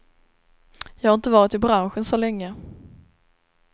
Jag har inte varit i branschen så länge.